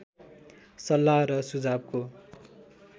सल्लाह र सुझावको